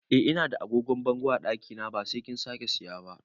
Eh Ina da agogon bango a ɗakina ba sai kin sake saya ba